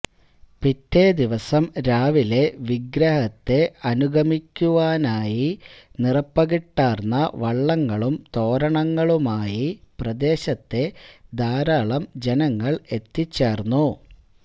പിറ്റേ ദിവസം രാവിലെ വിഗ്രഹത്തെ അനുഗമിക്കുവാനായി നിറപ്പകിട്ടാർന്ന വള്ളങ്ങളും തോരണങ്ങളുമായി പ്രദേശത്തെ ധാരാളം ജനങ്ങൾ എത്തിച്ചേർന്നു